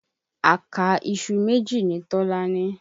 Àká iṣu méjì ni Tọlá ní.